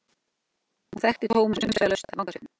Hún þekkti Thomas umsvifalaust af vangasvipnum.